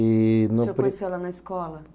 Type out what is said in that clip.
E... O senhor conheceu ela na escola?